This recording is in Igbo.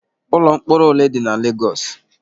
Ụlọ mkpọrọ ole dị na Legos?